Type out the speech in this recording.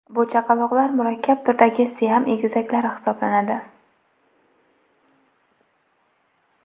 Bu chaqaloqlar murakkab turdagi siam egizaklari hisoblanadi.